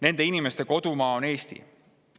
Nende inimeste kodumaa on Eesti.